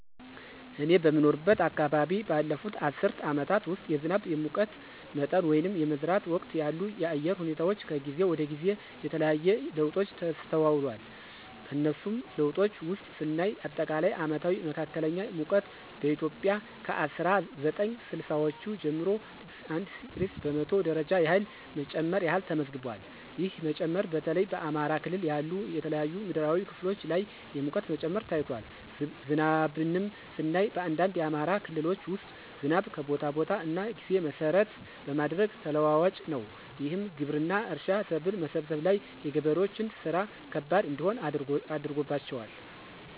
እኔ በምኖርበት አከባቢ ባለፉት አስርት አመታት ውስጥ የዝናብ፣ የሙቀት መጠን ወይንም የመዝራት ወቅት ያሉ የአየር ሁኔታወች ከጊዜ ወደ ጊዜ የተለያየ ለውጦች ተስተውሏል። ከነሱም ለውጦች ውስጥ ስናይ አጠቃላይ አመታዊ መካከለኛ ሙቀት በኢትዮጵያ ከ አስራ ዘጠኝ ስልሳወቹ ጀምሮ 1°c በመቶ ደረጃ ያህል መጨመር ያህል ተመዝግቧል። ይህ መጨመር በተለይ በአማራ ክልል ያሉ የተለያዩ ምድራዊ ክፍሎች ላይ የሙቀት መጨመር ታይቷል። ዝናብንም ስናይ በአንዳንድ የአማራ ክልሎች ውስጥ ዝናብ ከቦታ ቦታ እና ጊዜ መሰረት በማድረግ ተለዋዋጭ ነው። ይህም ግብርና፣ እርሻ፣ ሰብል መሰብሰብ ላይ የገበሬዎችን ስራ ከባድ እንዲሆን አድርጎባቸዋል።